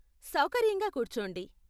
సౌకర్యంగా కూర్చోండి.